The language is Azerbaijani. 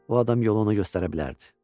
O adam yolu ona göstərə bilərdi.